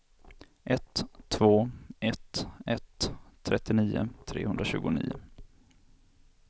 ett två ett ett trettionio trehundratjugonio